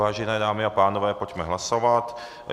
Vážené dámy a pánové, pojďme hlasovat.